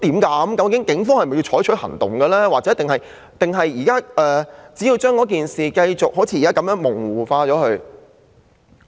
究竟警方是否採取行動，抑或將事件像現在那樣繼續模糊化？